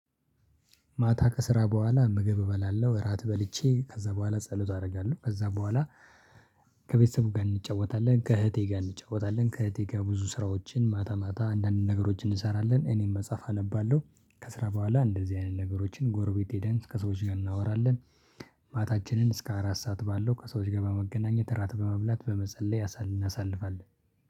ማታ ከስራ በኋላ ምግብ እበላለሁ እራት በልቼ ከዛ በኋላ ጸሎት አደርጋለሁ ከዛ በኋላ። ከቤተሰብ ጋር እንጫወታለን ከእህቴ ጋር እንጫወታለን ከእህቴ ጋር ብዙ ስራዎችን ማታ ማታ አንዳንድ ነገሮችን እንሰራለን እኔም መጽሐፍ አነባለሁ ከስራ በኋላ እንደዚህ አይነት ነገሮችን ጎረቤት ሄደን ከሰዎች ጋር እናወራለን። ማታችንን እስከ አራት ሰዓት ባለው ከሰዎች ጋር በመገናኘት ራት በመብላት በመጸለይ እናሳልፋለን